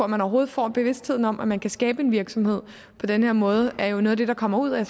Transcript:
man overhovedet får bevidstheden om at man kan skabe en virksomhed på den her måde er jo noget af det der kommer ud af